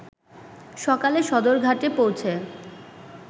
সকালে সদরঘাটে পৌঁছে